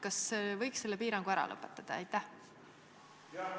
Kas võiks selle piirangu ära lõpetada?